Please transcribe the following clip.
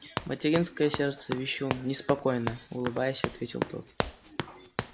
материнское сердце-вещун неспокойно улыбаясь ответил тот